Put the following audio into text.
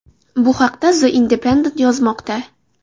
Bu haqda The Independent yozmoqda .